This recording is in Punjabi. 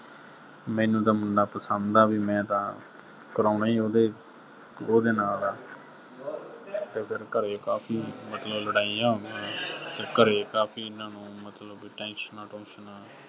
ਮੈਨੂੰ ਤਾਂ ਮੁੰਡਾ ਪਸੰਦ ਆ, ਵੀ ਮੈਂ ਤਾਂ ਕਰਾਉਣਾ ਹੀ ਉਹਦੇ, ਉਹਦੇ ਨਾਲ ਆ, ਤੇ ਫਿਰ ਘਰੇ ਕਾਫ਼ੀ ਵੱਡੀਆਂ ਲੜਾਈਆਂ ਹੋਈਆਂ, ਤੇ ਘਰੇ ਕਾਫ਼ੀ ਇਨ੍ਹਾਂ ਨੂੰ ਫਿਰ ਮਤਲਬ tensions ਟੂਸ਼ਨਾਂ